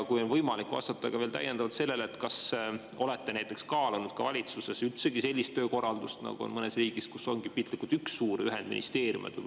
Kas on võimalik vastata veel täiendavalt sellele, kas te olete kaalunud valitsuses sellist töökorraldust, nagu on mõnes riigis, kus ongi piltlikult üks suur ühendministeerium?